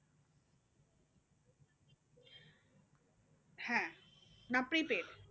হ্যাঁ না prepaid